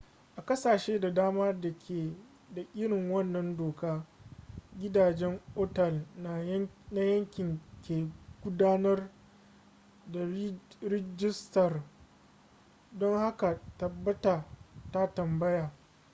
a ƙasashe da dama da ke da irin wannan doka gidajen otal na yanki ke gudanar da rijistar don haka tabbata ka tambaya